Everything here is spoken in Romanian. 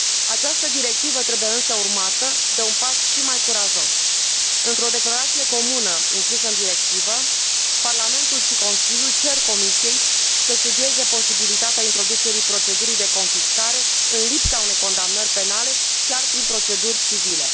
Această directivă trebuie însă urmată de un pas și mai curajos într o declarație comună, inclusă în directivă, Parlamentul și Consiliul cer Comisiei să studieze posibilitatea introducerii procedurii de confiscare, în lipsa unei condamnări penale, chiar prin proceduri civile.